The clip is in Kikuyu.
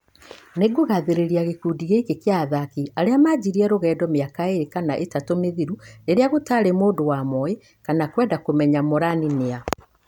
Nĩngũgathĩrĩria gĩkundi gĩkĩ kĩa athaki arĩa manjirie rũgendo mĩaka ĩrĩ kana ĩtatũ mĩthiru rĩrĩa gũtaarĩ mũndu wa moĩ kana kwenda kũmenya Morani nĩa.